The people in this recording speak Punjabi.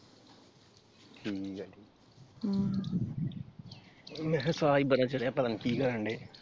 ਠੀਕ ਆ ਹਮ ਮੈਂ ਕਿਹਾ ਸਾਹ ਹੀ ਬੜਾ ਚੜ੍ਹਿਆ ਪਤਾ ਨੀ ਕੀ ਕਰਨ ਡੇ?